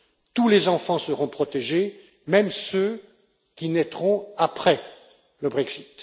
Tous les enfants seront protégés, même ceux qui naîtront après le Brexit.